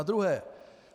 Za druhé.